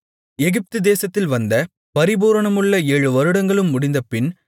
எகிப்துதேசத்தில் வந்த பரிபூரணமுள்ள ஏழு வருடங்களும் முடிந்தபின்